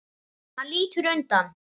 Hann lítur undan.